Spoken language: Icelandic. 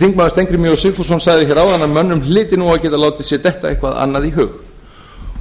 þingmaður steingrímur j sigfússon baki hérna áðan að mönnum hlyti nú að geta látið sér detta eitthvað annað í hug